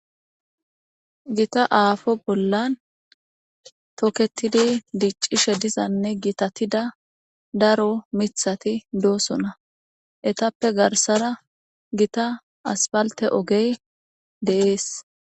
gita aafo bollan toketidi diccishe dizanne gitatida daro mithati doosona etappe garsara gita aspalte ogey de7es